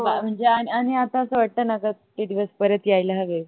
म्हणजे आण आणि अस वाटत न ग कि ते दिवस परत यायला हवे.